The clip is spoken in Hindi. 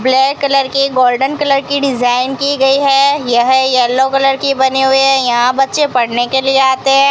ब्लैक कलर के गोल्डन कलर की डिजाइन की गई है यह येलो कलर की बनी हुई है यहां बच्चे पढ़ने के लिए आते --